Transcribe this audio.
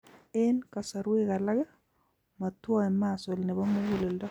En kasarwek alak , motwoe muscle nebo muguleldo